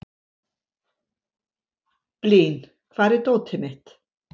Blín, hvar er dótið mitt?